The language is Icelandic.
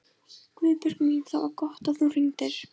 Guðbjörg mín, það var gott að þú hringdir.